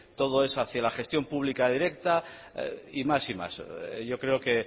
todo es hacía la gestión pública directa y más y más yo creo que